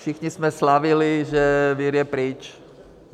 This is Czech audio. Všichni jsme slavili, že vir je pryč.